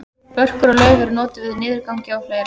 börkur og lauf eru notuð við niðurgangi og fleira